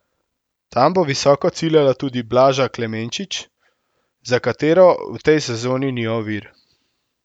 Tam bo visoko ciljala tudi Blaža Klemenčič, za katero v tej sezoni ni ovir.